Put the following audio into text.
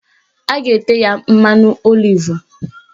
A ga-ete ya mmanụ olivu